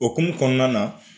Okumu kɔnɔna na